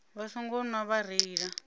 vha songo nwa vha reila